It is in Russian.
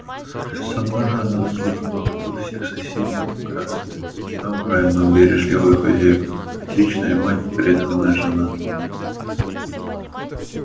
сама же она заслужила любовь всех соседей в графстве добрая но бережливая хозяйка отличная мать преданная жена